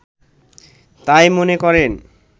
তাই মনে করেন